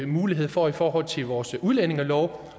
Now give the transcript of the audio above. mulighed for i forhold til vores udlændingelov